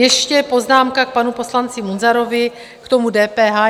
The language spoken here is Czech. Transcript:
Ještě poznámka k panu poslanci Munzarovi k tomu DPH.